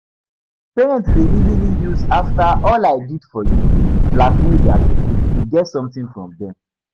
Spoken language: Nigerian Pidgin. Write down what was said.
Parents de easily use 'after all i did for you' blackmail their pikin to get something from dem